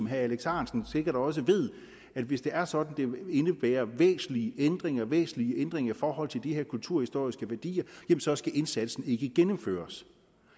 herre alex ahrendtsen sikkert også ved at hvis det er sådan at det vil indebære væsentlige ændringer væsentlige ændringer i forhold til de her kulturhistoriske værdier så skal indsatsen ikke gennemføres